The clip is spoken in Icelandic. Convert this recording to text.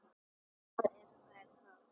Og hvað eru þær þá?